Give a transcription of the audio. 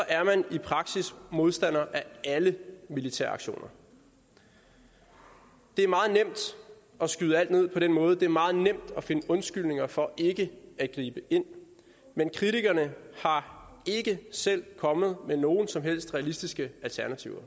er man i praksis modstander af alle militæraktioner det er meget nemt at skyde alt ned på den måde det er meget nemt at finde undskyldninger for ikke at gribe ind men kritikerne er ikke selv kommet med nogen som helst realistiske alternativer